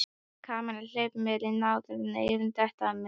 Kamilla, hleyptu mér inn áður en eyrun detta af mér